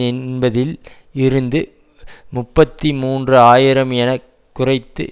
என்பதில் இருந்து முப்பத்தி மூன்று ஆயிரம் என குறைத்து